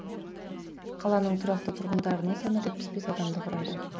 қаланың тұрақты тұрғындарының саны жетпіс бес адамды құрайды